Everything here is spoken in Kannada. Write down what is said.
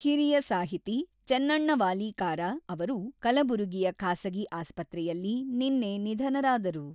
ಹಿರಿಯ ಸಾಹಿತಿ, ಚೆನ್ನಣ್ಣವಾಲೀಕಾರ ಅವರು ಕಲಬುರಗಿಯ ಖಾಸಗಿ ಆಸ್ಪತ್ರೆಯಲ್ಲಿ ನಿನ್ನೆ ನಿಧನರಾದರು.